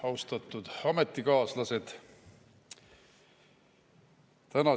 Austatud ametikaaslased!